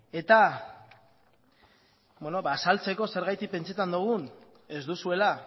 azaltzeko zergatik pentsatzen dugun ez duzuela